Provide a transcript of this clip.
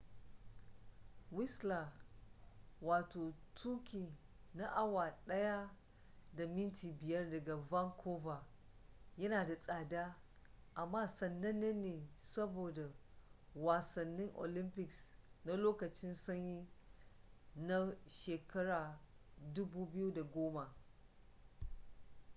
whistler tuki na awa 1.5 daga vancouver yana da tsada amma sananne ne saboda wasannin olympics na lokacin sanyi na 2010